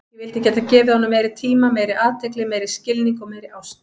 Ég vildi geta gefið honum meiri tíma, meiri athygli, meiri skilning og meiri ást.